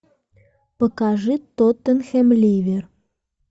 покажи тоттенхэм ливер